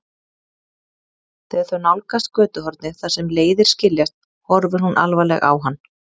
Þegar þau nálgast götuhornið þar sem leiðir skiljast horfir hún alvarleg á hann.